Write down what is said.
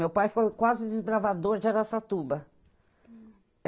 Meu pai foi o quase desbravador de Araçatuba.